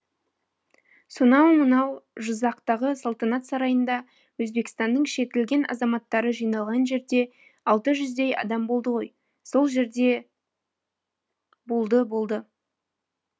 сонау мынау жызақтағы салтанат сарайында өзбекстанның шертілген азаматтары жиналған жерде алты жүздей адам болды ғой сол жерде болды болды